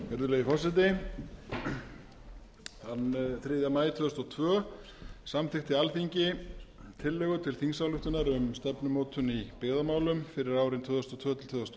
virðulegi forseti þann þriðja maí tvö þúsund og tvö samþykkti alþingi tillögu til þingsályktunar um stefnumótun í byggðamálum fyrir árin tvö þúsund og tvö til tvö þúsund og